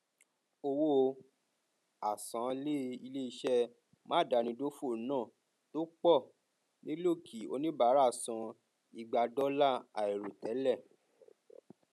owó àsanlé iléiṣẹ máadámidófò náà tó pọ nílò kí oníbàárà san igba dọlà àìròtẹlẹ